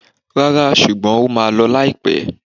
Ràrá, ṣugbọn o màa lọ laipe.